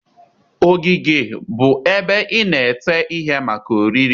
ogige bụ ebe ị na-ete ihe maka oriri